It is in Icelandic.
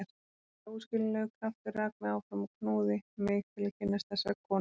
Einhver óskiljanlegur kraftur rak mig áfram og knúði mig til að kynnast þessari konu.